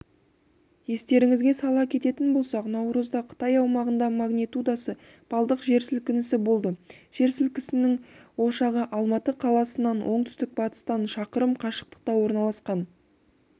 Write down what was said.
естеріңізге сала кететін болсақ наурызда қытай аумағында магнитудасы балдық жер сілкінісі болды жер сілкінісінің ошағы алматы қаласынан оңтүстік-батыстан шақырым қашықтықтаорналасқан